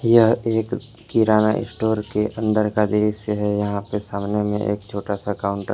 यह एक किराना स्टोर के अंदर का दृश्य है यहां पे सामने में एक छोटा सा काउंटर है।